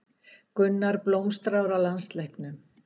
Gunnar blómstrar á landsleiknum